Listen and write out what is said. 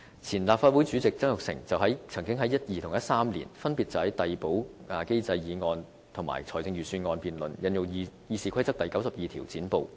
前立法會主席曾鈺成曾經在2012年和2013年，分別就遞補機制的議案和財政預算案辯論引用《議事規則》第92條"剪布"。